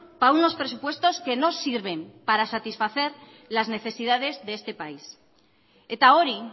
para unos presupuestos que no sirven para satisfacer las necesidades de este país eta hori